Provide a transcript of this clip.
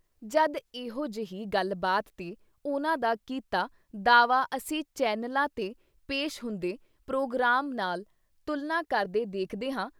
ਜਦ ਐਹੋ ਜਿਹੀ ਗੱਲਬਾਤ ਤੇ ਉਨ੍ਹਾਂ ਦਾ ਕੀਤਾ ਦਾਅਵਾ ਅਸੀਂ ਚੈਨਲਾਂ 'ਤੇ ਪੇਸ਼ ਹੁੰਦੇ ਪ੍ਰੋਗਰਾਮ ਨਾਲ ਤੁਲਨਾ ਕਰਕੇ ਦੇਖਦੇ ਹਾਂ ।